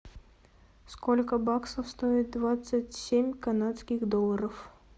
сколько баксов стоит двадцать семь канадских долларов